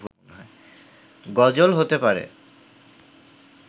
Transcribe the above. গজল হতে পারে